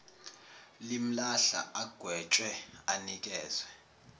limlahla agwetshwe anikezwe